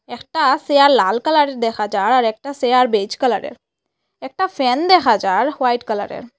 একটা চেয়ার লাল কালারের দেখা যার আর একটা চেয়ার বেজ কালারের একটা ফ্যান দেখা যার হোয়াইট কালারের।